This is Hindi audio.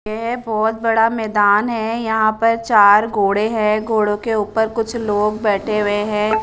येहे बहोत बड़ा मैदान है यहा पर चार घोड़े है घोड़ो के उपर कुछ लोग बेठे हुए है।